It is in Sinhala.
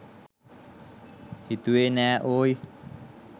හිතුවෙ නෑ ඕයි